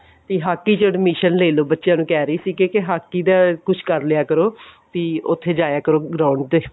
ਤੇ ਹਾਕੀ ਚ admission ਲੇ ਲੋ ਬੱਚਿਆ ਨੂੰ ਕਹਿ ਰਹੀ ਸੀ ਕੇ ਹਾਕੀ ਦਾ ਕੁੱਛ ਕਰਲਿਆ ਕਰੋ ਵੀ ਉੱਥੇ ਜਾਇਆ ਕਰੋ ground ਤੇ